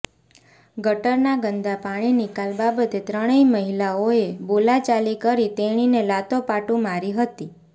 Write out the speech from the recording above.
ગટરના ગંદા પાણી નિકાલ બાબતે ત્રણેય માહિલાઓએ બોલાચાલી કરી તેણીને લાતો પાટુ મારી હતી